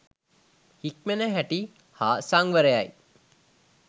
හික්මෙන හැටි හා සංවරයයි.